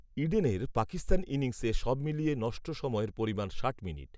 ইডেনের পাকিস্তান ইনিংসে, সবমিলিয়ে নষ্ট সময়ের পরিমাণ, ষাট মিনিট